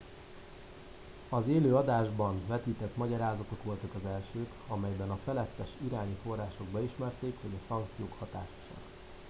az élő adásban vetített magyarázatok voltak az elsők amelyben a felettes iráni források beismerték hogy a szankciók hatásosak